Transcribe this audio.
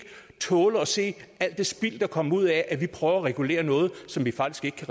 tåle at se alt det spild der kommer ud af at vi prøver at regulere noget som vi faktisk